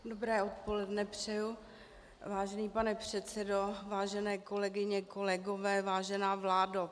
Dobré odpoledne, přeji, vážený pane předsedo, vážené kolegyně, kolegové, vážená vládo.